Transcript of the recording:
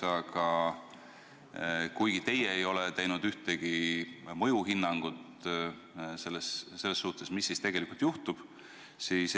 Samas te ei ole teinud ühtegi mõjuhinnangut selle kohta, mis siis tegelikult juhtuda võiks.